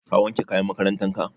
Ka wanke kayan makarantan ka?